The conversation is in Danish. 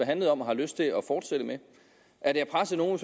handler om og har lyst til at fortsætte med er det at presse nogen